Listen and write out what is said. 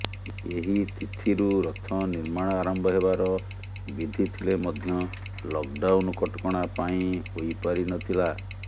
ଏହି ତିଥିରୁ ରଥ ନିର୍ମାଣ ଆରମ୍ଭ ହେବାର ବିଧି ଥିଲେ ମଧ୍ୟ ଲକଡାଉନ୍ କଟକଣା ପାଇଁ ହୋଇପାରି ନଥିଲା